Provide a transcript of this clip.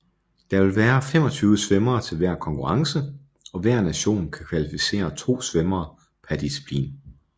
Der vil være 25 svømmere til hver konkurrence og hver nation kan kvalificere 2 svømmere per disciplin